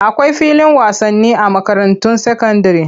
Akwai filin wasani a makarantun sakandire.